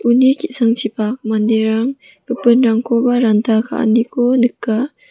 uni ki·sangchipak manderang gipinrangkoba ranta ka·aniko nika.